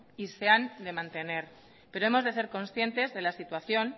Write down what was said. y se han de mantener pero hemos de ser conscientes de la situación